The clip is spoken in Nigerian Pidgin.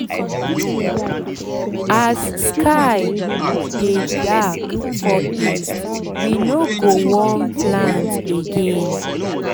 as sky as sky dey dark for east we no go wan plant again